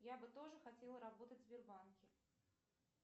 я бы тоже хотела работать в сбербанке